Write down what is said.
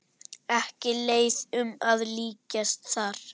Ekki leiðum að líkjast þar.